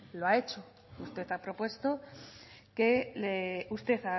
lo ha hecho usted ha propuesto que le usted